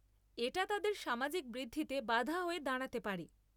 এটা তাদের সামাজিক বৃদ্ধিতে বাধা হয়ে দাঁড়াতে পারে।